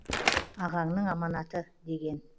ағаңның аманаты деген